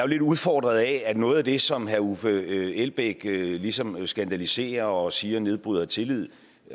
lidt udfordret af at noget af det som herre uffe elbæk ligesom skandaliserer og siger nedbryder tillid